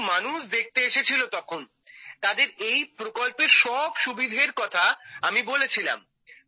বহু মানুষ দেখতে এসেছিল তখন তাঁদের এই প্রকল্পের সব সুবিধের কথা আমি বলেছিলাম